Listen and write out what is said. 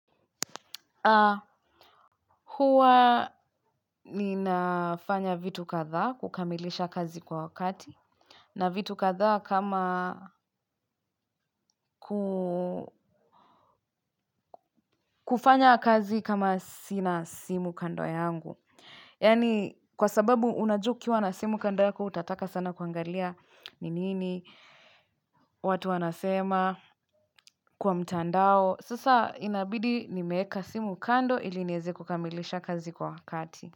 Haa huwa ninafanya vitu kadhaa kukamilisha kazi kwa wakati. Na vitu kadhaa kama kufanya kazi kama sina simu kando yangu. Yani kwa sababu unajukiwa na simu kandoe kwa utataka sana kuangalia ni nini. Watu wanasema kwa mtandao. Sasa inabidi nimeeka simu kando ilinieze kukamilisha kazi kwa wakati.